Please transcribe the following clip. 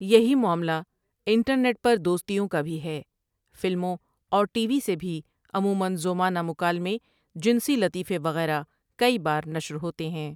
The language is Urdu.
یہی معاملہ انٹرنیٹ پر دوستیوں کا بھی ہے فلموں اور ٹی وی سے بھی عمومًا ذو معنی مکالمے، جنسی لطیفے، وغیرہ کئی بار نشر ہوتے ہیں ۔